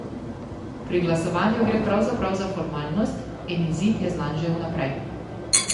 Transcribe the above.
Pri glasovanju gre pravzaprav za formalnost in izid je znan že vnaprej.